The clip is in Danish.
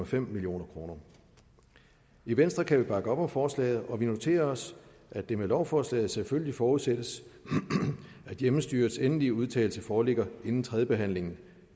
femten million kroner i venstre kan vi bakke op om forslaget og vi noterer os at det med lovforslaget selvfølgelig forudsættes at hjemmestyrets endelige udtalelse foreligger inden tredjebehandlingen